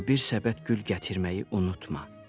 Amma bir səbət gül gətirməyi unutma.